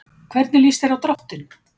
Hvernig líst þér á dráttinn?